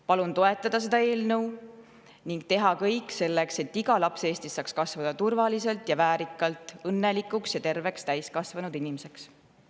Palun seda eelnõu toetada ning teha kõik selleks, et iga laps Eestis saaks kasvada turvaliselt ja väärikalt õnnelikuks ja terveks täiskasvanud inimeseks.